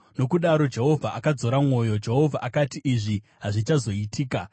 Nokudaro Jehovha akadzora mwoyo. Jehovha akati, “Izvi hazvichazoitika.”